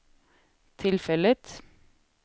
tillfället